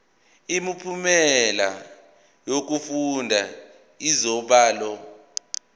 imiphumela yokufunda izibalo